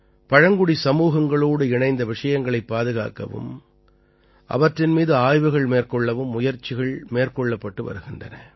பழங்குடி சமூகங்களோடு இணைந்த விஷயங்களைப் பாதுகாக்கவும் அவற்றின் மீது ஆய்வுகள் மேற்கொள்ளவும் முயற்சிகள மேற்கொள்ளப்பட்டு வருகின்றன